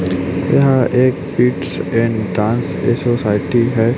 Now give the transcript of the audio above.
यहां एक eats and dance ये सोसायटी है।